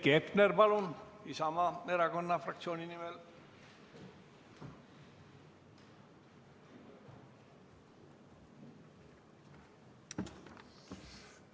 Heiki Hepner, palun, Isamaa Erakonna fraktsiooni nimel!